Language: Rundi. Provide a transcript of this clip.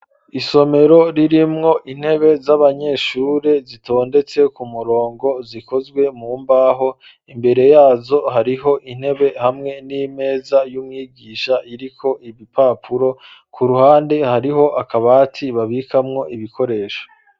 Isomero ririmwo intebe z'abanyeshuri zitondetse ku murongo zikozwe mu mbaho imbere yazo hariho intebe hamwe n'imeza y'umwigisha iriko ibipapuro, ku ruhande hariho akabati babikamwo ibikoresho.